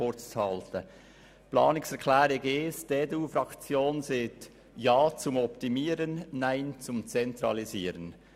Zu Planungserklärung 1: Die EDUFraktion sagt Ja zum Optimieren und Nein zum Zentralisieren.